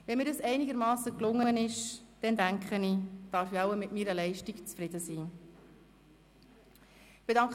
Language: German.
Wenn mir dies einigermassen gelungen ist, denke ich, dass ich mit meiner Leistung zufrieden sein darf.